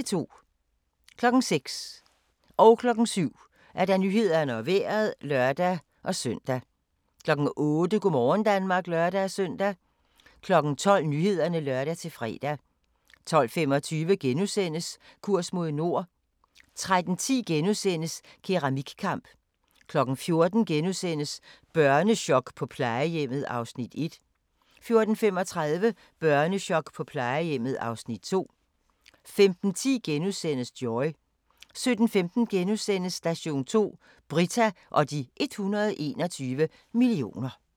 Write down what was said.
06:00: Nyhederne og Vejret (lør-søn) 07:00: Nyhederne og Vejret (lør-søn) 08:00: Go' morgen Danmark (lør-søn) 12:00: Nyhederne (lør-fre) 12:25: Kurs mod nord * 13:10: Keramikkamp * 14:00: Børnechok på plejehjemmet (Afs. 1)* 14:35: Børnechok på plejehjemmet (Afs. 2)* 15:10: Joy * 17:15: Station 2: Britta og de 121 millioner *